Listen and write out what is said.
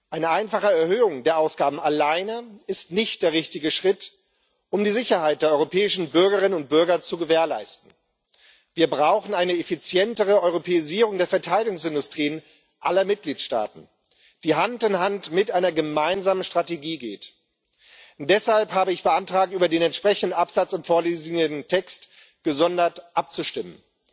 Eine einfache Erhöhung der Ausgaben alleine ist nicht der richtige Schritt, um die Sicherheit der europäischen Bürgerinnen und Bürger zu gewährleisten. Wir brauchen eine effizientere Europäisierung der Verteidigungsindustrien aller Mitgliedstaaten, die Hand in Hand mit einer gemeinsamen Strategie geht. Deshalb habe ich beantragt, über den entsprechenden Absatz im vorliegenden Text gesondert abzustimmen.